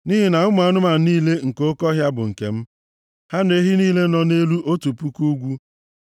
nʼihi na ụmụ anụmanụ niile nke oke ọhịa bụ nke m, ha na ehi niile nọ nʼelu otu puku ugwu.